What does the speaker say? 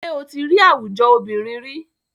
Ṣé o tí rí àwùjọ obìnrin ríi?